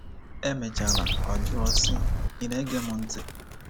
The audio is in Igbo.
Emechara ọ jụọ sị, “Ị̀ na-ege m ntị?"